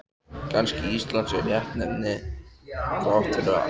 Kannski Ísland sé réttnefni þrátt fyrir allt.